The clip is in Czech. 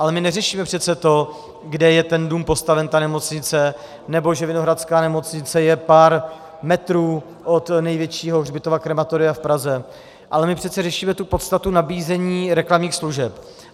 Ale my neřešíme přece to, kde je ten dům postaven, ta nemocnice, nebo že Vinohradská nemocnice je pár metrů od největšího hřbitova, krematoria v Praze, ale my přece řešíme tu podstatu nabízení reklamních služeb.